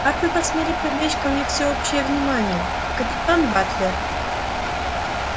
как вы посмели привлечь ко мне всеобщее внимание капитан батлер